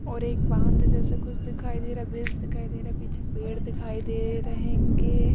और एक बांध जैसा कुछ दिखाई दे रहा है ब्रीज़ दिखाई दे रहा। पीछे पेड़ दिख दे रहेंगे।